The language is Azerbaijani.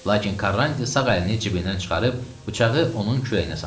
Lakin Karrantiya sağ əlini cibindən çıxarıb bıçağı onun kürəyinə sancdı.